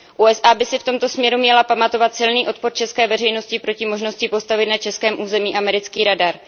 USA by si v tomto směru měly pamatovat silný odpor české veřejnosti proti možnosti postavit na českém území americký radar.